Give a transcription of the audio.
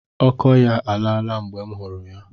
Ọkọ ya alaa la mgbe m hụrụ ya.